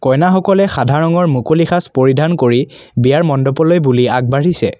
কইনাসকলে সাধা ৰঙৰ মুকলি সাজ পৰিধান কৰি বিয়াৰ মণ্ডপলৈ বুলি আগবাঢ়িছে।